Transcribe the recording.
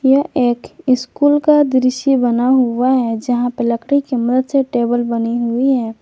यह एक स्कूल का दृश्य बना हुआ है जहां पर लकड़ी की मदद से टेबल बनी हुई है।